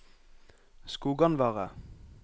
Skoganvarre